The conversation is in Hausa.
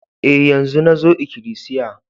E, yanzo nazo ikilisiya.